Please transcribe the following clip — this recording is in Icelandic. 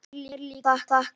Hann hlær líka og þakkar.